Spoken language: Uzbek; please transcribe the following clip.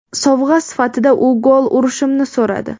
Sovg‘a sifatida u gol urishimni so‘radi.